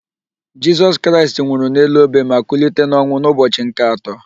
Jisọs Kraịst nwụrụ n'elu obe ma kulite n'ọnwụ n'ụbọchị nke atọ.